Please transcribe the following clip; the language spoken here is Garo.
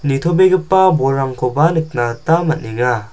nitobegipa bolrangkoba nikna gita man·enga.